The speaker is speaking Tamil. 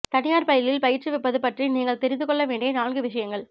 தனியார் பள்ளியில் பயிற்றுவிப்பது பற்றி நீங்கள் தெரிந்து கொள்ள வேண்டிய நான்கு விஷயங்கள்